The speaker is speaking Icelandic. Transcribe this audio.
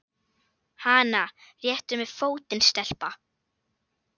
Hana réttu mér fótinn, stelpa!